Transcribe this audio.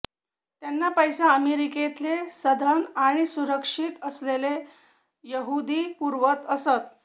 त्यांना पैसा अमेरिकेतले सधन आणि सुरक्षित असलेले यहुदी पुरवत असतं